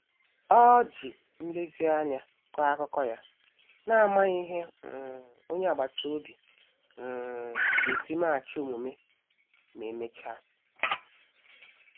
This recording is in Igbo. Ọ ji nlezianya kọọ akụkọ ya, n'amaghị ihe um onye agbata obi um ga-esi meghachi omume ma emechaa.